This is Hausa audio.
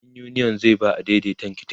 ɗan uniyon zai ba adaidaitan tiket